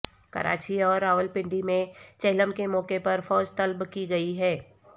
کراچی اور راولپنڈی میں چہلم کے موقع پر فوج طلب کی گئی ہے